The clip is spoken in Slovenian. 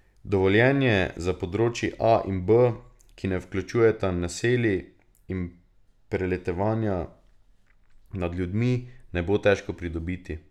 Dovoljenje za področji A in B, ki ne vključujeta naselij in preletavanja nad ljudmi, ne bo težko pridobiti.